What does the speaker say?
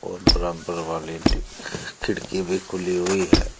और बराबर वाले खिड़की भी खुली हुई है और--